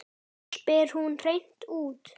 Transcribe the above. spyr hún hreint út.